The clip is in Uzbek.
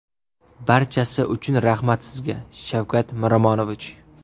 Barchasi uchun rahmat sizga, Shavkat Miromonovich!